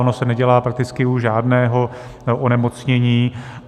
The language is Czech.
Ono se nedělá prakticky u žádného onemocnění.